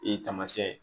E ye taamasiyɛn ye